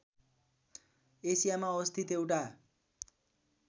एसियामा अवस्थित एउटा